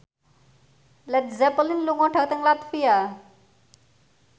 Led Zeppelin lunga dhateng latvia